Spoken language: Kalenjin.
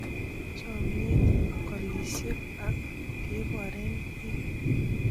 Chomiet, golisiek ak keboren biik.